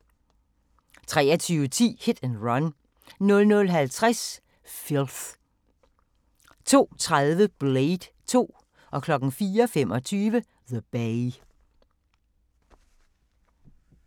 23:10: Hit & Run 00:50: Filth 02:30: Blade 2 04:25: The Bay